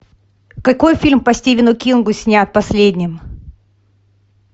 какой фильм по стивену кингу снят последним